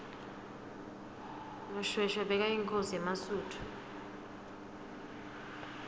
mushoeshoe bekayinkhosi yemasuthu